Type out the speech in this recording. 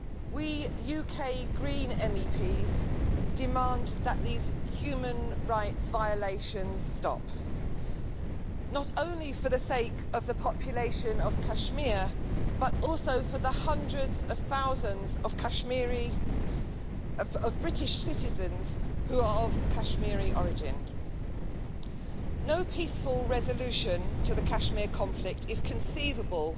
We UK Green MEPs demand that these human rights violations stop not only for the sake of the population of Kashmir, but also for the hundreds of thousands of British citizens who are of Kashmiri origin. No peaceful resolution to the Kashmir conflict is conceivable